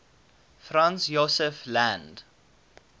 franz josef land